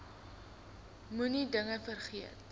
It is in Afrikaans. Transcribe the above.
moenie dinge vergeet